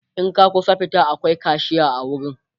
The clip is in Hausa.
in ka kusa fita akwai kashiya a wurin